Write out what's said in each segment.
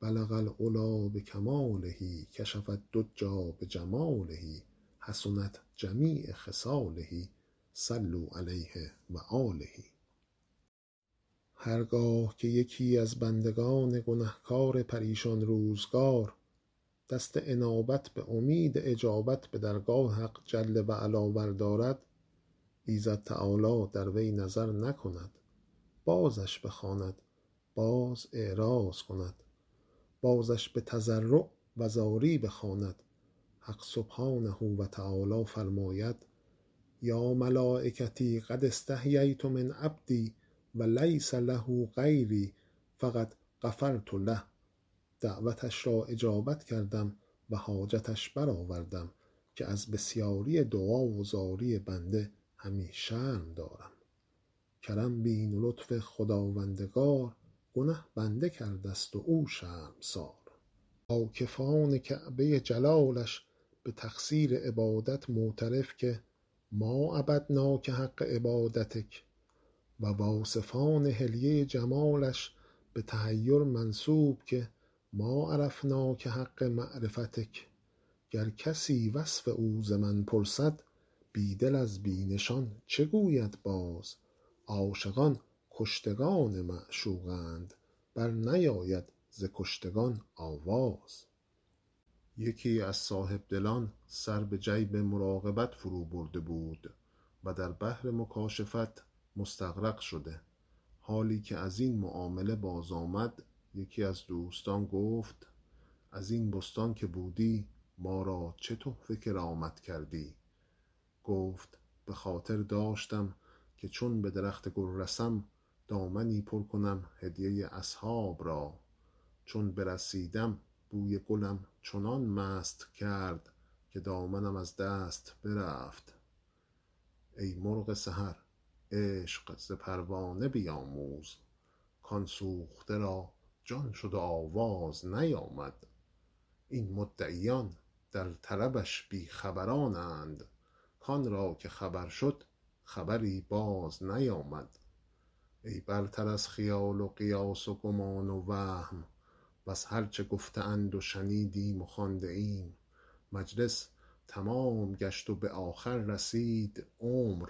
بلغ العلیٰ بکماله کشف الدجیٰ بجماله حسنت جمیع خصاله صلوا علیه و آله هر گاه که یکی از بندگان گنهکار پریشان روزگار دست انابت به امید اجابت به درگاه حق جل و علا بردارد ایزد تعالی در وی نظر نکند بازش بخواند باز اعراض کند بازش به تضرع و زاری بخواند حق سبحانه و تعالی فرماید یا ملایکتی قد استحییت من عبدی و لیس له غیری فقد غفرت له دعوتش را اجابت کردم و حاجتش برآوردم که از بسیاری دعا و زاری بنده همی شرم دارم کرم بین و لطف خداوندگار گنه بنده کرده ست و او شرمسار عاکفان کعبه جلالش به تقصیر عبادت معترف که ما عبدناک حق عبادتک و واصفان حلیه جمالش به تحیر منسوب که ما عرفناک حق معرفتک گر کسی وصف او ز من پرسد بی دل از بی نشان چه گوید باز عاشقان کشتگان معشوقند بر نیاید ز کشتگان آواز یکی از صاحبدلان سر به جیب مراقبت فرو برده بود و در بحر مکاشفت مستغرق شده حالی که از این معامله باز آمد یکی از دوستان گفت از این بستان که بودی ما را چه تحفه کرامت کردی گفت به خاطر داشتم که چون به درخت گل رسم دامنی پر کنم هدیه اصحاب را چون برسیدم بوی گلم چنان مست کرد که دامنم از دست برفت ای مرغ سحر عشق ز پروانه بیاموز کآن سوخته را جان شد و آواز نیامد این مدعیان در طلبش بی خبرانند کآن را که خبر شد خبری باز نیامد ای برتر از خیال و قیاس و گمان و وهم وز هر چه گفته اند و شنیدیم و خوانده ایم مجلس تمام گشت و به آخر رسید عمر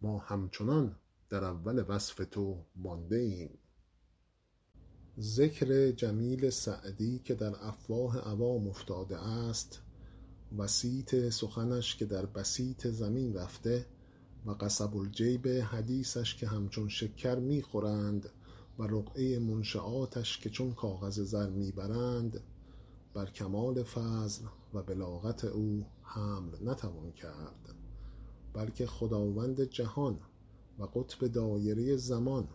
ما همچنان در اول وصف تو مانده ایم ذکر جمیل سعدی که در افواه عوام افتاده است و صیت سخنش که در بسیط زمین رفته و قصب الجیب حدیثش که همچون شکر می خورند و رقعه منشیاتش که چون کاغذ زر می برند بر کمال فضل و بلاغت او حمل نتوان کرد بلکه خداوند جهان و قطب دایره زمان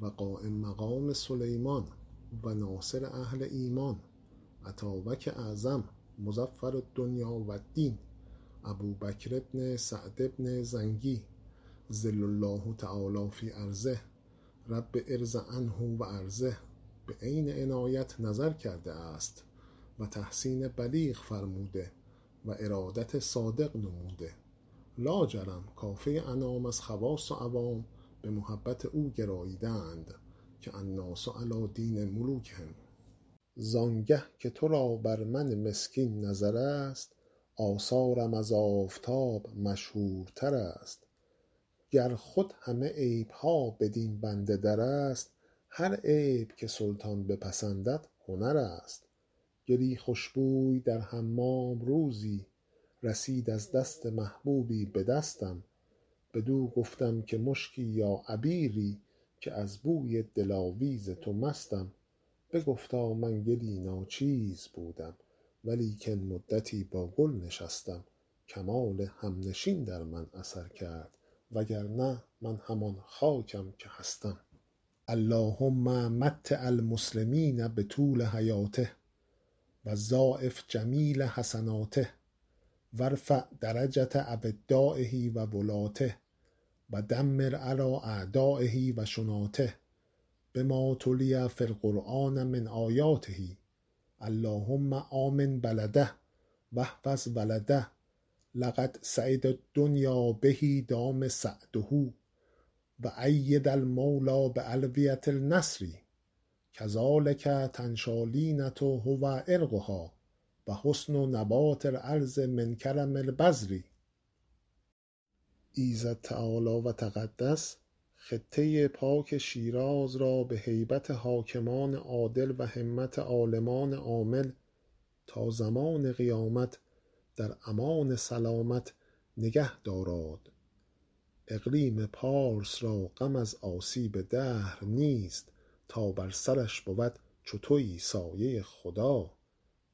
و قایم مقام سلیمان و ناصر اهل ایمان اتابک اعظم مظفر الدنیا و الدین ابوبکر بن سعد بن زنگی ظل الله تعالیٰ في أرضه رب ارض عنه و أرضه به عین عنایت نظر کرده است و تحسین بلیغ فرموده و ارادت صادق نموده لاجرم کافه انام از خواص و عوام به محبت او گراییده اند که الناس علیٰ دین ملوکهم زآن گه که تو را بر من مسکین نظر است آثارم از آفتاب مشهورتر است گر خود همه عیب ها بدین بنده در است هر عیب که سلطان بپسندد هنر است گلی خوش بوی در حمام روزی رسید از دست محبوبی به دستم بدو گفتم که مشکی یا عبیری که از بوی دلاویز تو مستم بگفتا من گلی ناچیز بودم و لیکن مدتی با گل نشستم کمال همنشین در من اثر کرد وگرنه من همان خاکم که هستم اللهم متع المسلمین بطول حیاته و ضاعف جمیل حسناته و ارفع درجة أودایه و ولاته و دمر علیٰ أعدایه و شناته بما تلي في القرآن من آیاته اللهم آمن بلده و احفظ ولده لقد سعد الدنیا به دام سعده و أیده المولیٰ بألویة النصر کذلک ینشأ لینة هو عرقها و حسن نبات الأرض من کرم البذر ایزد تعالی و تقدس خطه پاک شیراز را به هیبت حاکمان عادل و همت عالمان عامل تا زمان قیامت در امان سلامت نگه داراد اقلیم پارس را غم از آسیب دهر نیست تا بر سرش بود چو تویی سایه خدا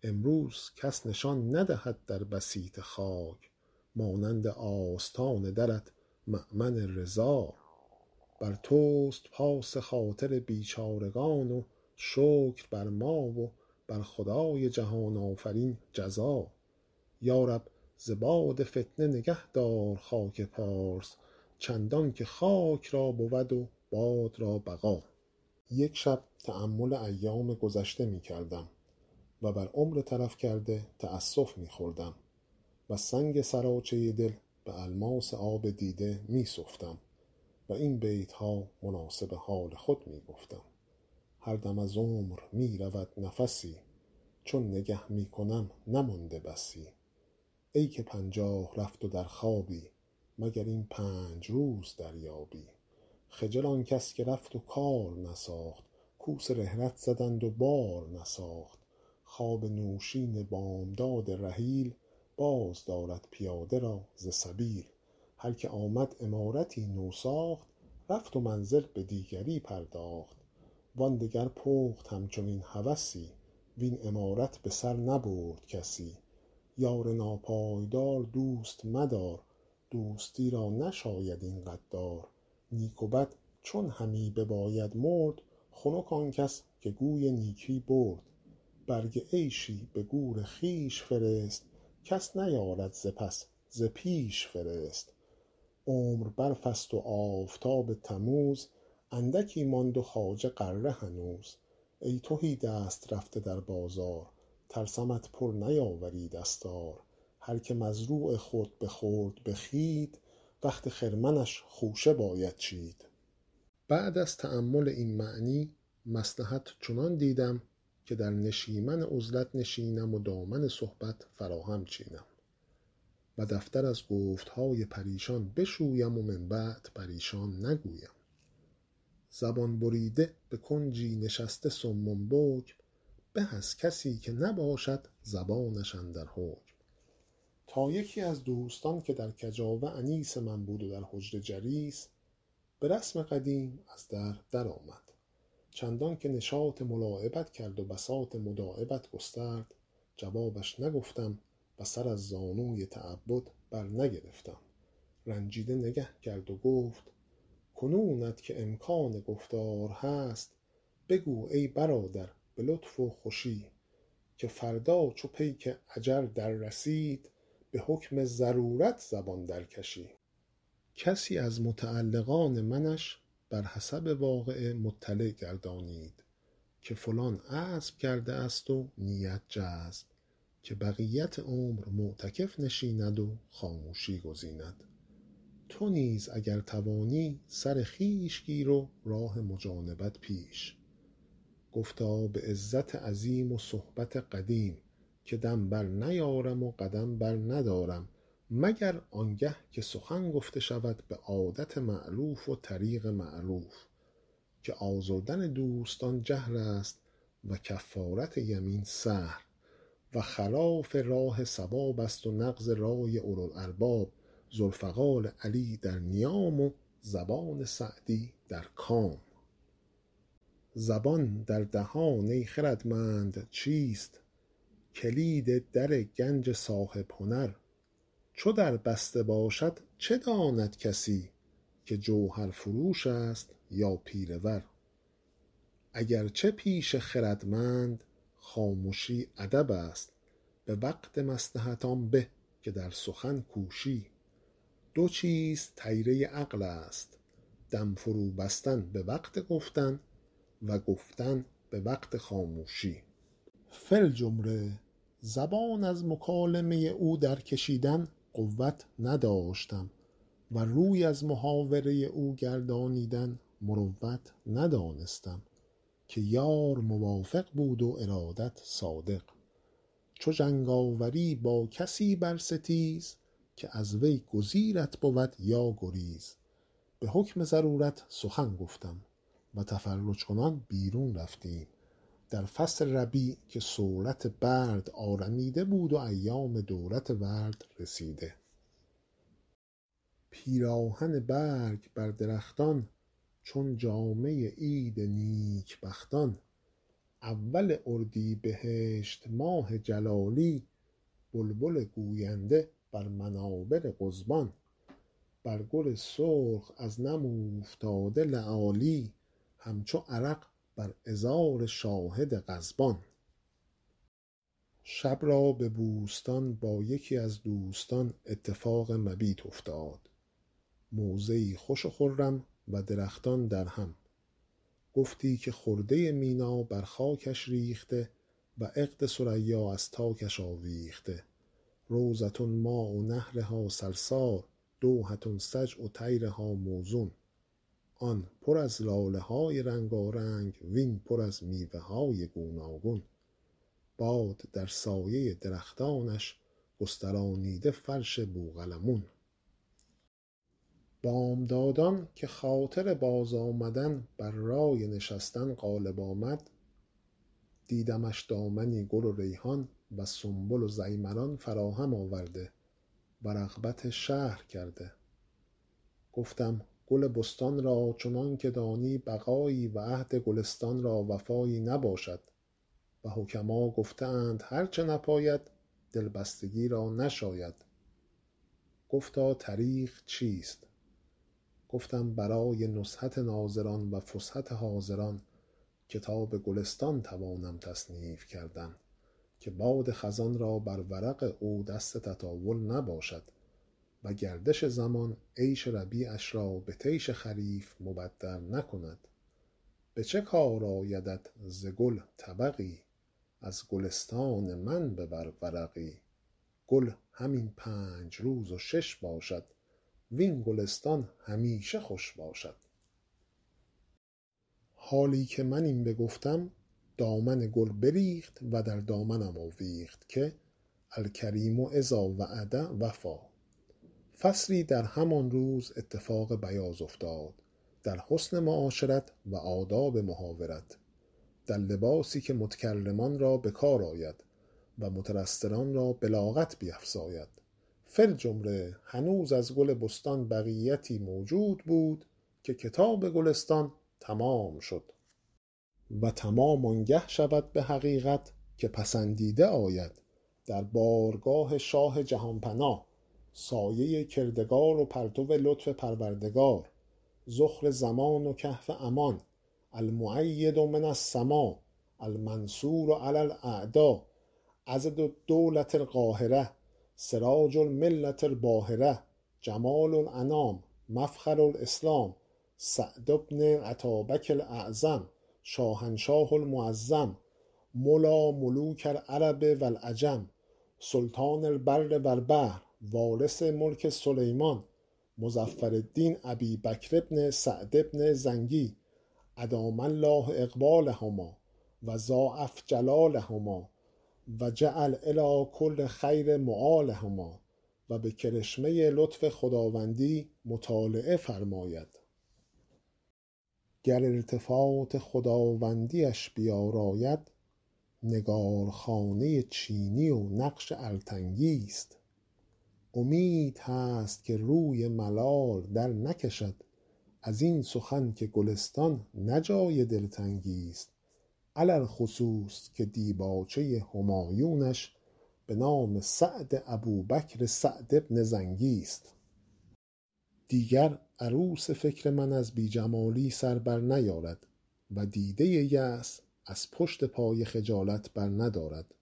امروز کس نشان ندهد در بسیط خاک مانند آستان درت مأمن رضا بر توست پاس خاطر بیچارگان و شکر بر ما و بر خدای جهان آفرین جزا یا رب ز باد فتنه نگهدار خاک پارس چندان که خاک را بود و باد را بقا یک شب تأمل ایام گذشته می کردم و بر عمر تلف کرده تأسف می خوردم و سنگ سراچه دل به الماس آب دیده می سفتم و این بیت ها مناسب حال خود می گفتم هر دم از عمر می رود نفسی چون نگه می کنم نمانده بسی ای که پنجاه رفت و در خوابی مگر این پنج روز دریابی خجل آن کس که رفت و کار نساخت کوس رحلت زدند و بار نساخت خواب نوشین بامداد رحیل باز دارد پیاده را ز سبیل هر که آمد عمارتی نو ساخت رفت و منزل به دیگری پرداخت وآن دگر پخت همچنین هوسی وین عمارت به سر نبرد کسی یار ناپایدار دوست مدار دوستی را نشاید این غدار نیک و بد چون همی بباید مرد خنک آن کس که گوی نیکی برد برگ عیشی به گور خویش فرست کس نیارد ز پس ز پیش فرست عمر برف است و آفتاب تموز اندکی ماند و خواجه غره هنوز ای تهی دست رفته در بازار ترسمت پر نیاوری دستار هر که مزروع خود بخورد به خوید وقت خرمنش خوشه باید چید بعد از تأمل این معنی مصلحت چنان دیدم که در نشیمن عزلت نشینم و دامن صحبت فراهم چینم و دفتر از گفت های پریشان بشویم و من بعد پریشان نگویم زبان بریده به کنجی نشسته صم بکم به از کسی که نباشد زبانش اندر حکم تا یکی از دوستان که در کجاوه انیس من بود و در حجره جلیس به رسم قدیم از در در آمد چندان که نشاط ملاعبت کرد و بساط مداعبت گسترد جوابش نگفتم و سر از زانوی تعبد بر نگرفتم رنجیده نگه کرد و گفت کنونت که امکان گفتار هست بگو ای برادر به لطف و خوشی که فردا چو پیک اجل در رسید به حکم ضرورت زبان در کشی کسی از متعلقان منش بر حسب واقعه مطلع گردانید که فلان عزم کرده است و نیت جزم که بقیت عمر معتکف نشیند و خاموشی گزیند تو نیز اگر توانی سر خویش گیر و راه مجانبت پیش گفتا به عزت عظیم و صحبت قدیم که دم بر نیارم و قدم بر ندارم مگر آن گه که سخن گفته شود به عادت مألوف و طریق معروف که آزردن دوستان جهل است و کفارت یمین سهل و خلاف راه صواب است و نقص رای اولوالالباب ذوالفقار علی در نیام و زبان سعدی در کام زبان در دهان ای خردمند چیست کلید در گنج صاحب هنر چو در بسته باشد چه داند کسی که جوهرفروش است یا پیله ور اگر چه پیش خردمند خامشی ادب است به وقت مصلحت آن به که در سخن کوشی دو چیز طیره عقل است دم فرو بستن به وقت گفتن و گفتن به وقت خاموشی فی الجمله زبان از مکالمه او در کشیدن قوت نداشتم و روی از محاوره او گردانیدن مروت ندانستم که یار موافق بود و ارادت صادق چو جنگ آوری با کسی بر ستیز که از وی گزیرت بود یا گریز به حکم ضرورت سخن گفتم و تفرج کنان بیرون رفتیم در فصل ربیع که صولت برد آرمیده بود و ایام دولت ورد رسیده پیراهن برگ بر درختان چون جامه عید نیک بختان اول اردیبهشت ماه جلالی بلبل گوینده بر منابر قضبان بر گل سرخ از نم اوفتاده لآلی همچو عرق بر عذار شاهد غضبان شب را به بوستان با یکی از دوستان اتفاق مبیت افتاد موضعی خوش و خرم و درختان درهم گفتی که خرده مینا بر خاکش ریخته و عقد ثریا از تارکش آویخته روضة ماء نهرها سلسال دوحة سجع طیرها موزون آن پر از لاله های رنگارنگ وین پر از میوه های گوناگون باد در سایه درختانش گسترانیده فرش بوقلمون بامدادان که خاطر باز آمدن بر رای نشستن غالب آمد دیدمش دامنی گل و ریحان و سنبل و ضیمران فراهم آورده و رغبت شهر کرده گفتم گل بستان را چنان که دانی بقایی و عهد گلستان را وفایی نباشد و حکما گفته اند هر چه نپاید دلبستگی را نشاید گفتا طریق چیست گفتم برای نزهت ناظران و فسحت حاضران کتاب گلستان توانم تصنیف کردن که باد خزان را بر ورق او دست تطاول نباشد و گردش زمان عیش ربیعش را به طیش خریف مبدل نکند به چه کار آیدت ز گل طبقی از گلستان من ببر ورقی گل همین پنج روز و شش باشد وین گلستان همیشه خوش باشد حالی که من این بگفتم دامن گل بریخت و در دامنم آویخت که الکریم إذا وعد وفا فصلی در همان روز اتفاق بیاض افتاد در حسن معاشرت و آداب محاورت در لباسی که متکلمان را به کار آید و مترسلان را بلاغت بیفزاید فی الجمله هنوز از گل بستان بقیتی موجود بود که کتاب گلستان تمام شد و تمام آن گه شود به حقیقت که پسندیده آید در بارگاه شاه جهان پناه سایه کردگار و پرتو لطف پروردگار ذخر زمان و کهف امان المؤید من السماء المنصور علی الأعداء عضد الدولة القاهرة سراج الملة الباهرة جمال الأنام مفخر الإسلام سعد بن الاتابک الاعظم شاهنشاه المعظم مولیٰ ملوک العرب و العجم سلطان البر و البحر وارث ملک سلیمان مظفرالدین أبی بکر بن سعد بن زنگی أدام الله إقبالهما و ضاعف جلالهما و جعل إلیٰ کل خیر مآلهما و به کرشمه لطف خداوندی مطالعه فرماید گر التفات خداوندی اش بیاراید نگارخانه چینی و نقش ارتنگی ست امید هست که روی ملال در نکشد از این سخن که گلستان نه جای دلتنگی ست علی الخصوص که دیباچه همایونش به نام سعد ابوبکر سعد بن زنگی ست دیگر عروس فکر من از بی جمالی سر بر نیارد و دیده یأس از پشت پای خجالت بر ندارد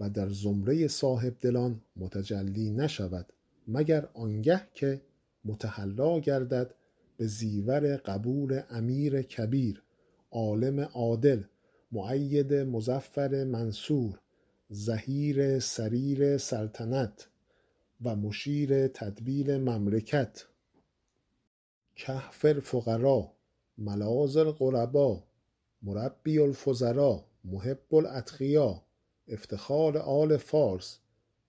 و در زمره صاحب دلان متجلی نشود مگر آن گه که متحلی گردد به زیور قبول امیر کبیر عالم عادل مؤید مظفر منصور ظهیر سریر سلطنت و مشیر تدبیر مملکت کهف الفقرا ملاذ الغربا مربی الفضلا محب الأتقیا افتخار آل فارس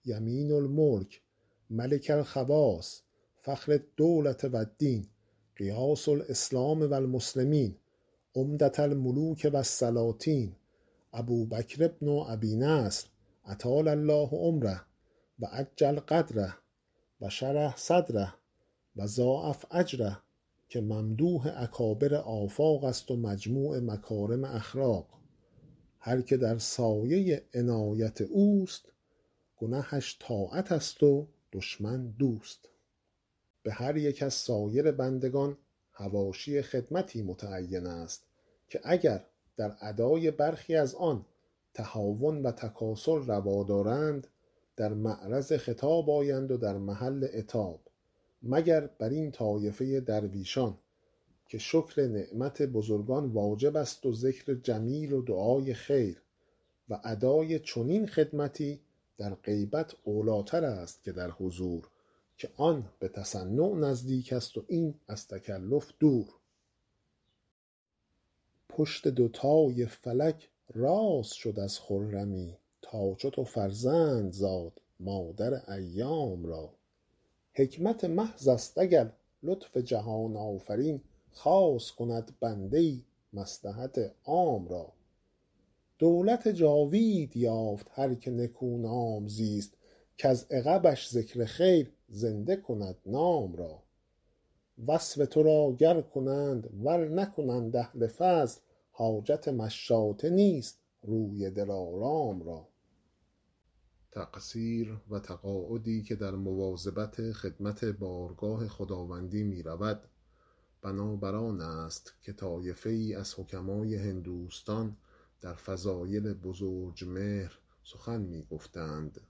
یمین الملک ملک الخواص فخر الدولة و الدین غیاث الإسلام و المسلمین عمدة الملوک و السلاطین ابوبکر بن أبي نصر أطال الله عمره و أجل قدره و شرح صدره و ضاعف أجره که ممدوح اکابر آفاق است و مجموع مکارم اخلاق هر که در سایه عنایت اوست گنهش طاعت است و دشمن دوست به هر یک از سایر بندگان حواشی خدمتی متعین است که اگر در ادای برخی از آن تهاون و تکاسل روا دارند در معرض خطاب آیند و در محل عتاب مگر بر این طایفه درویشان که شکر نعمت بزرگان واجب است و ذکر جمیل و دعای خیر و اداء چنین خدمتی در غیبت اولی ٰتر است که در حضور که آن به تصنع نزدیک است و این از تکلف دور پشت دوتای فلک راست شد از خرمی تا چو تو فرزند زاد مادر ایام را حکمت محض است اگر لطف جهان آفرین خاص کند بنده ای مصلحت عام را دولت جاوید یافت هر که نکونام زیست کز عقبش ذکر خیر زنده کند نام را وصف تو را گر کنند ور نکنند اهل فضل حاجت مشاطه نیست روی دلارام را تقصیر و تقاعدی که در مواظبت خدمت بارگاه خداوندی می رود بنا بر آن است که طایفه ای از حکماء هندوستان در فضایل بزرجمهر سخن می گفتند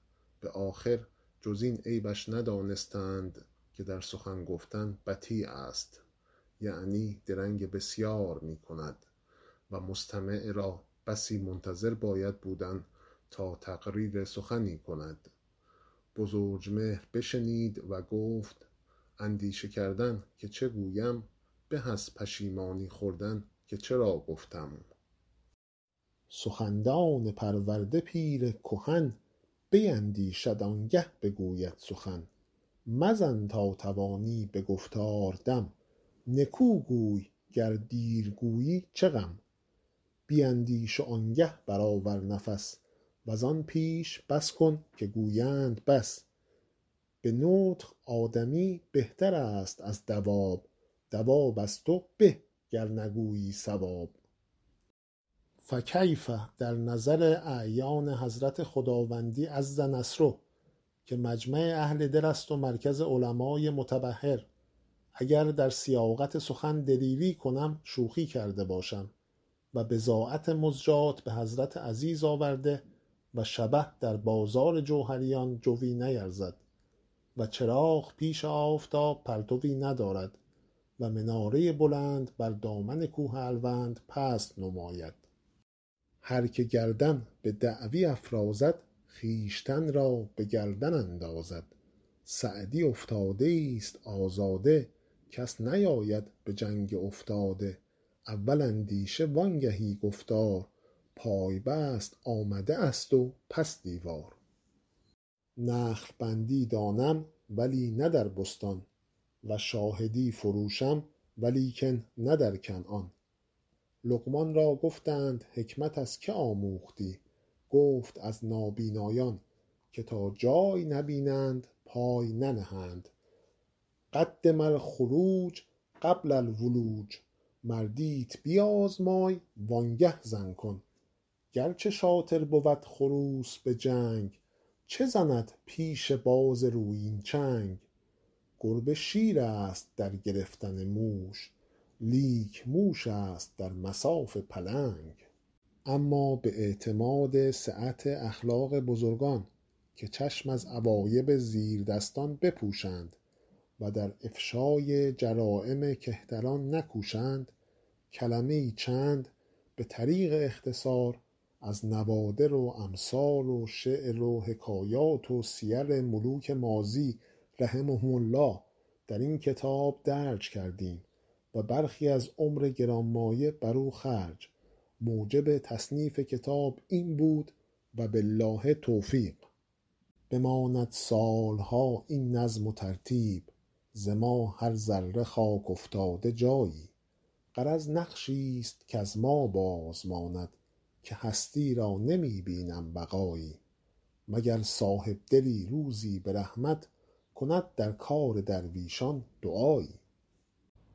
به آخر جز این عیبش ندانستند که در سخن گفتن بطی است یعنی درنگ بسیار می کند و مستمع را بسی منتظر باید بودن تا تقریر سخنی کند بزرجمهر بشنید و گفت اندیشه کردن که چه گویم به از پشیمانی خوردن که چرا گفتم سخندان پرورده پیر کهن بیندیشد آن گه بگوید سخن مزن تا توانی به گفتار دم نکو گوی گر دیر گویی چه غم بیندیش وآن گه بر آور نفس وز آن پیش بس کن که گویند بس به نطق آدمی بهتر است از دواب دواب از تو به گر نگویی صواب فکیف در نظر اعیان حضرت خداوندی عز نصره که مجمع اهل دل است و مرکز علمای متبحر اگر در سیاقت سخن دلیری کنم شوخی کرده باشم و بضاعت مزجاة به حضرت عزیز آورده و شبه در جوهریان جویٖ نیارد و چراغ پیش آفتاب پرتوی ندارد و مناره بلند بر دامن کوه الوند پست نماید هر که گردن به دعوی افرازد خویشتن را به گردن اندازد سعدی افتاده ای ست آزاده کس نیاید به جنگ افتاده اول اندیشه وآن گهی گفتار پای بست آمده ست و پس دیوار نخل بندی دانم ولی نه در بستان و شاهدی فروشم ولیکن نه در کنعان لقمان را گفتند حکمت از که آموختی گفت از نابینایان که تا جای نبینند پای ننهند قدم الخروج قبل الولوج مردیت بیازمای وآن گه زن کن گر چه شاطر بود خروس به جنگ چه زند پیش باز رویین چنگ گربه شیر است در گرفتن موش لیک موش است در مصاف پلنگ اما به اعتماد سعت اخلاق بزرگان که چشم از عوایب زیردستان بپوشند و در افشای جرایم کهتران نکوشند کلمه ای چند به طریق اختصار از نوادر و امثال و شعر و حکایات و سیر ملوک ماضی رحمهم الله در این کتاب درج کردیم و برخی از عمر گرانمایه بر او خرج موجب تصنیف کتاب این بود و بالله التوفیق بماند سال ها این نظم و ترتیب ز ما هر ذره خاک افتاده جایی غرض نقشی ست کز ما باز ماند که هستی را نمی بینم بقایی مگر صاحب دلی روزی به رحمت کند در کار درویشان دعایی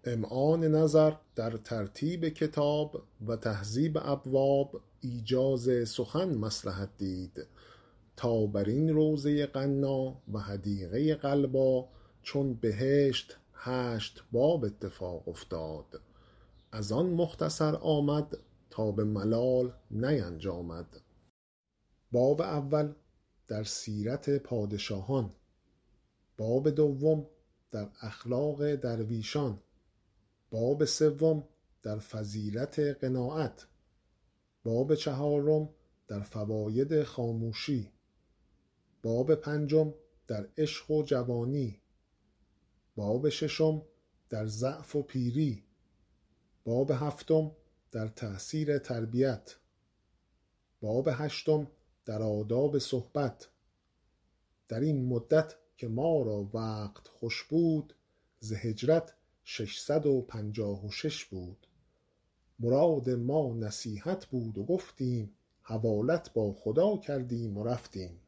امعان نظر در ترتیب کتاب و تهذیب ابواب ایجاز سخن مصلحت دید تا بر این روضه غنا و حدیقه غلبا چون بهشت هشت باب اتفاق افتاد از آن مختصر آمد تا به ملال نینجامد باب اول در سیرت پادشاهان باب دوم در اخلاق درویشان باب سوم در فضیلت قناعت باب چهارم در فواید خاموشی باب پنجم در عشق و جوانی باب ششم در ضعف و پیری باب هفتم در تأثیر تربیت باب هشتم در آداب صحبت در این مدت که ما را وقت خوش بود ز هجرت شش صد و پنجاه و شش بود مراد ما نصیحت بود و گفتیم حوالت با خدا کردیم و رفتیم